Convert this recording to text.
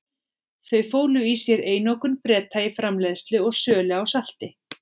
Þau fólu í sér einokun Breta í framleiðslu og sölu á salti.